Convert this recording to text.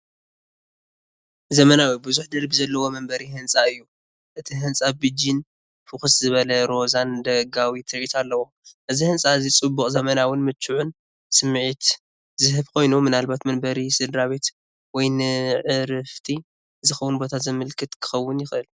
ዘመናዊ፡ ብዙሕ ደርቢ ዘለዎ መንበሪ ህንጻ እዩ። እቲ ህንጻ ቢጅን ፍኹስ ዝበለ ሮዛን ደጋዊ ትርኢት ኣለዎ። እዚ ህንጻ እዚ ጽቡቕ፡ ዘመናውን ምቹእን ስምዒት ዝህብ ኮይኑ፡ ምናልባት መንበሪ ስድራቤት ወይ ንዕረፍቲ ዝኸውን ቦታ ዘመልክት ክኸውን ይኽእል።